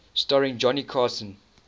starring johnny carson